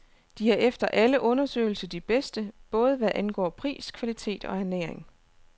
De er efter alle undersøgelser de bedste, både hvad angår pris, kvalitet og ernæring.